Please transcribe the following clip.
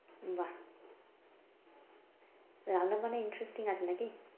বাহ! রান্না-বান্নায় interesting আছে নাকি?